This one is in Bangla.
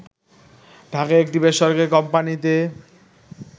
ঢাকার একটি বেসরকারি কোম্পানিতে